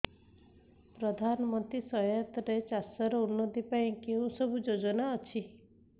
ପ୍ରଧାନମନ୍ତ୍ରୀ ସହାୟତା ରେ ଚାଷ ର ଉନ୍ନତି ପାଇଁ କେଉଁ ସବୁ ଯୋଜନା ଅଛି